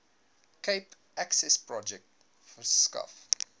cape accessprojek verskaf